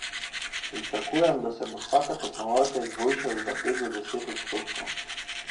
Pričakujem, da se bo vsaka tekmovalka izboljšala za pet do deset odstotkov.